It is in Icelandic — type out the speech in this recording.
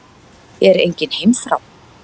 Er engin heimþrá?